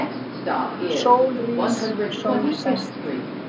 Sól rís, sól sest